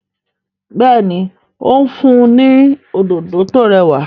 béèni o n fun ní Òdòdó tó rẹwà.